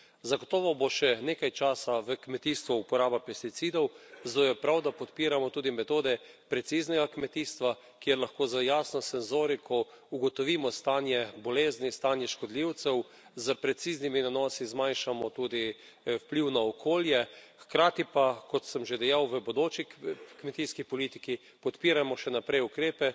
Zagotovo bo še nekaj časa v kmetijstvu uporaba pesticidov, zato je prav, da podpiramo tudi metode preciznega kmetijstva, kjer lahko z jasno senzoriko ugotovimo stanje bolezni, stanje škodljivcev, s preciznimi nanosi zmanjšamo tudi vpliv na okolje, hkrati pa, kot sem že dejal, v bodoči kmetijski politiki podpirajmo še naprej ukrepe,